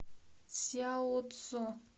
цзяоцзо